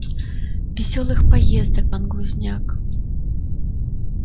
весёлых поездок пан глузняк